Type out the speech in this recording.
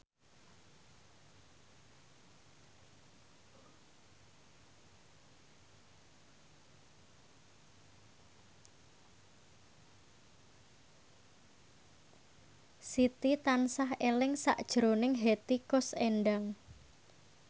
Siti tansah eling sakjroning Hetty Koes Endang